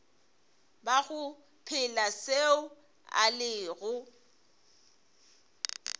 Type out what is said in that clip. bago phela seo a lego